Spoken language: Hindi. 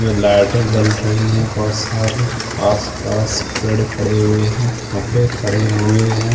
यहाँ लाइटें जल रही हैं बहुत सारी आस-पास पेड़ खड़े हुए हैं खम्भे खड़े हुए हैं।